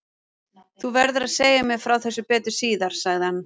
Þú verður að segja mér frá þessu betur síðar sagði hann.